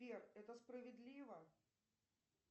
сбер это справедливо